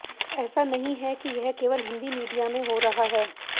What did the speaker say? ऐसा नहीं है कि यह केवल हिंदी मीडिया में हो रहा है